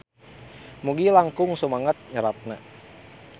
Mugi langkung sumanget nyeratna.